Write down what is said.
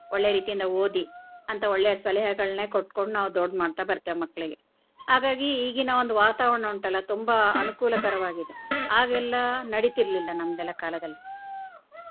ಒಳ್ಳೆ ರೀತಿಯಿಂದ ಓದಿ ಅಂತ ಒಳ್ಳೆ ಸಲಹೆಗಳನ್ನೇ ಕೋಟ್ಕೋಂಡ್ ನಾವು ದೊಡ್ಡದ್ ಮಾಡ್ತಾ ಬರ್ತೇವೆ ಮಕ್ಕಳಿಗೆ ಹಾಗಾಗಿ ಈಗಿನ ಒಂದು ವಾತಾವರಣ ಉಂಟು ಅಲ್ಲಾ ತುಂಬಾ ಅನುಕೂಲಕರವಾಗಿದೆ ಆಗೆಲ್ಲ ನಡಿತಿರ್ಲಿಲ್ಲ ನಮ್ದೆಲ್ಲ ಕಾಲದಲ್ಲಿ.